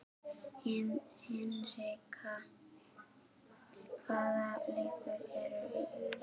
Hinrikka, hvaða leikir eru í kvöld?